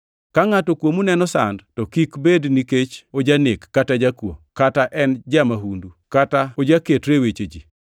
Ka ngʼato kuomu neno sand to kik bed nikech ojanek kata ojakuo, kata en ja-mahundu, kata ojaketre e weche ji.